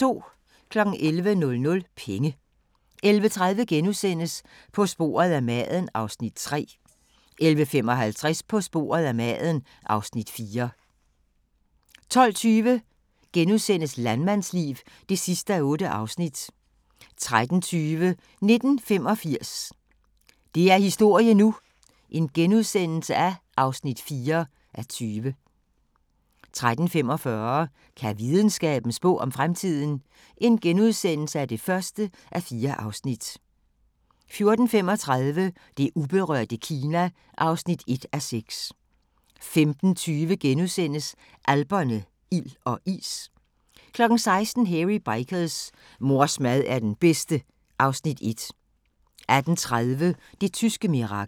11:00: Penge 11:30: På sporet af maden (Afs. 3)* 11:55: På sporet af maden (Afs. 4) 12:20: Landmandsliv (8:8)* 13:20: 1985 – det er historie nu! (4:20)* 13:45: Kan videnskaben spå om fremtiden? (1:4)* 14:35: Det uberørte Kina (1:6) 15:20: Alperne – ild og is * 16:00: Hairy Bikers : Mors mad er den bedste (Afs. 1) 18:30: Det tyske mirakel